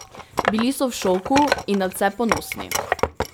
Bili so v šoku in nadvse ponosni.